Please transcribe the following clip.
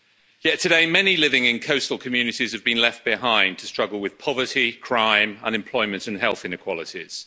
Yet today, many living in coastal communities have been left behind to struggle with poverty, crime, unemployment and health inequalities.